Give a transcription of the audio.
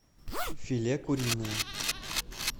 филе куриное